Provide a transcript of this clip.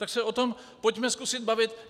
Tak se o tom pojďme zkusit bavit.